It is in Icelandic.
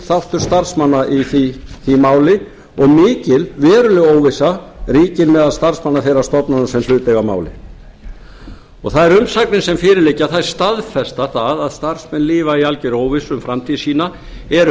þáttur starfsmanna í því máli og mikil veruleg óvissa ríkir meðal starfsmanna meira stofnana sem hlut eiga að máli og þær umsagnir sem fyrir liggja staðfesta það að starfsmenn lifa í algerri óvissu um framtíð sína eru